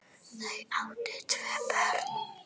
Þau áttu tvö börn.